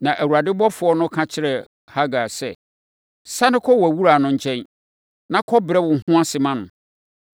Na Awurade ɔbɔfoɔ no ka kyerɛɛ Hagar sɛ, “Sane kɔ wʼawuraa no nkyɛn, na kɔbrɛ wo ho ase ma no.”